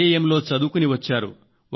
IIM లో చదువుకుని వచ్చారు